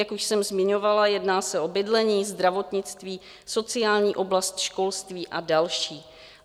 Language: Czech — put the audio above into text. Jak už jsem zmiňovala, jedná se o bydlení, zdravotnictví, sociální oblast, školství a další.